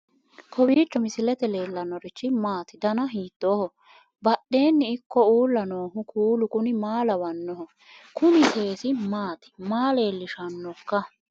kowiicho misilete leellanorichi maati ? dana hiittooho ?abadhhenni ikko uulla noohu kuulu kuni maa lawannoho? kuni seesi maati maa leellishshannooikka